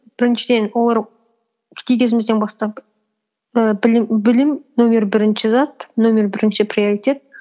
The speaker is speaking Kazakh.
біріншіден олар кезімізден бастап ііі білім нөмір бірінші зат нөмір бірінші приоритет